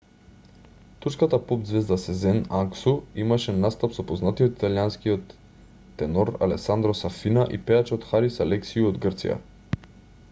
турската поп-ѕвезда сезен аксу имаше настап со познатиот италијанскиот тенор алесандро сафина и пејачот харис алексиу од грција